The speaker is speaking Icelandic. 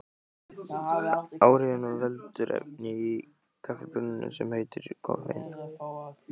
Áhrifunum veldur efni í kaffibaununum sem heitir koffein.